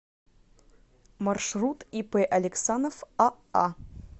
маршрут ип алексанов аа